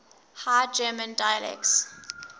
high german dialects